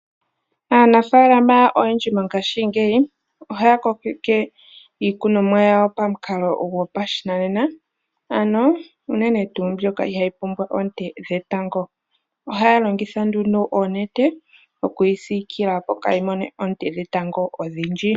Aanafalama oyendji mongashingeyi ohaya kokeke iikunomwa yawo pamukalo gopashinanena ano uunene tuu mbyoka ihayi pumbwa oonte dhetango. Ohaya longitha nduuno oonete okuyi sikila opo kayi mone ontene dhetango odhindji.